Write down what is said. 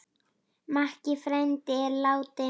Makki frændi er látinn.